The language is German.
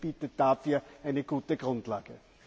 Der Bericht bietet dafür eine gute Grundlage.